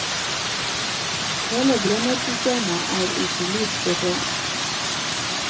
Hele brennersystemet er i solid støpejern.